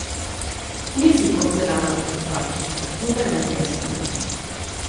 Nisi porcelanasta stvarčica, nobena ženska ni.